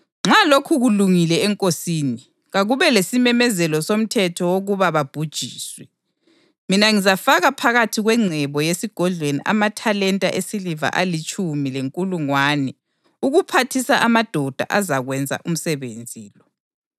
Nxa lokhu kulungile enkosini, kakube lesimemezelo somthetho wokuba babhujiswe. Mina ngizafaka phakathi kwengcebo yesigodlweni amathalenta esiliva alitshumi lenkulungwane ukuphathisa amadoda azakwenza umsebenzi lo.”